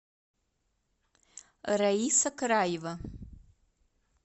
раиса краева